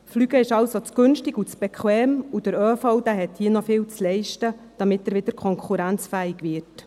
Fliegen ist somit zu günstig und zu bequem, und der ÖV muss hier noch viel leisten, damit er wieder konkurrenzfähig wird.